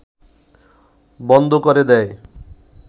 বন্ধ করে দেয়